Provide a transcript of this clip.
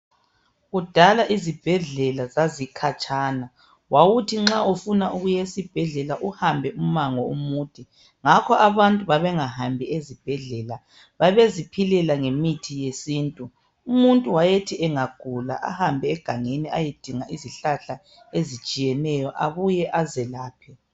Kudala izibhedlela zazikhatshana. Wawuthi nxa ufuna ukuya esibhedlela uhambe umango omude ngakho abantu babengahambi ezibhedlela. Babeziphilela ngemithi yesintu. Umuntu wayethi engagula ahambe egangeni ayedinga izihlahla ezitshiyeneyo abuye azelaphe